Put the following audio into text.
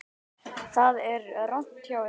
Það er rangt hjá ykkur.